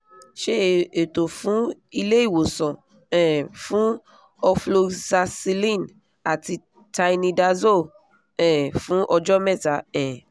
ṣe ètò fun ilé-ìwòsàn um fún ofloxacilin àti tinidazole um fún ọ̀jọ́ mẹ́ta um